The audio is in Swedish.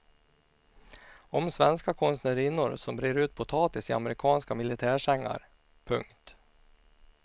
Om svenska konstnärinnor som brer ut potatis i amerikanska militärsängar. punkt